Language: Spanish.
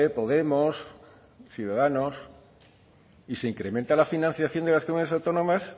podemos y ciudadanos y se incrementa la financiación de las comunidades autónomas